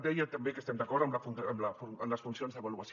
deia també que estem d’acord amb les funcions d’avaluació